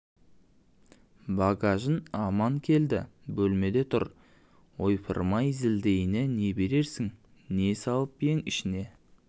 багажың аман келді бөлмеңде тұр ойпырай зілдейіне не берерсің не салып ең ішін